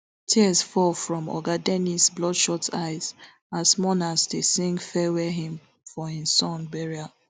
tears fall from oga dennis bloodshot eyes as mourners dey sing farewell hymn for im son burial